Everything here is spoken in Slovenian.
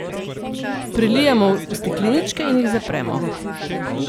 Prelijemo v stekleničke in jih zapremo.